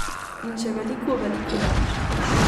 In še veliko veliko več.